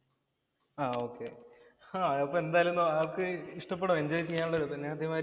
ആഹ് okay. ഹാ, അപ്പൊ എന്തായാലും ആൾക്ക് ഇഷ്ടപെടും. എന്‍ജോയ് ചെയ്യാനുള്ള ഒരു ഇത് തന്നെയാണ്